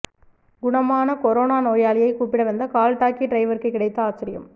குணமான கொரோனா நோயாளியை கூப்பிட வந்த கால்டாக்சி டிரைவருக்கு கிடைத்த ஆச்சரியம்